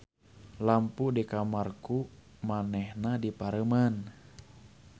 Lampu di kamar ku manehna dipareuman.